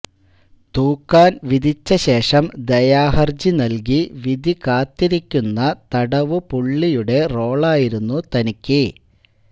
തൂക്കാൻ വിധിച്ച ശേഷം ദയാഹർജി നൽകി വിധി കാത്തിരിക്കുന്ന തടവ് പുളളിയുട റോളായിരുന്നു തനിയ്ക്ക്